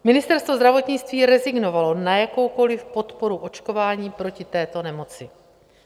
Ministerstvo zdravotnictví rezignovalo na jakoukoliv podporu očkování proti této nemoci.